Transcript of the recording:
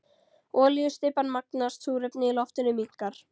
Olíustybban magnast, súrefnið í loftinu minnkar.